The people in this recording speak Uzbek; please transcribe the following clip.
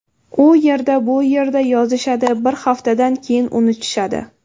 U yer - bu yerda yozishadi, bir haftadan keyin unutishadi.